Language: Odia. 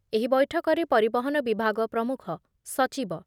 ଏହି ବୈଠକରେ ପରିବହନ ବିଭାଗ ପ୍ରମୁଖ ସଚିବ